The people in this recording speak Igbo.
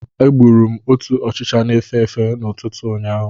Agburu m otu ọchịcha na-efe efe n'ụtụtụ ụnyaahụ.